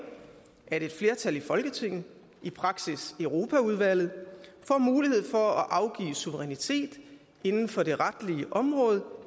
at et flertal i folketinget i praksis europaudvalget får mulighed for at afgive suverænitet inden for det retlige område